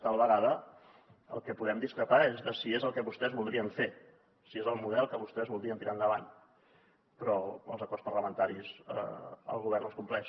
tal vegada en el que podem discrepar és en si és el que vostès voldrien fer si és el model que vostès voldrien tirar endavant però els acords parlamentaris el govern els compleix